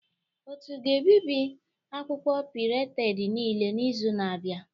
Otu ga-ebibi akwụkwọ ndị pirated niile n'izu na-abịa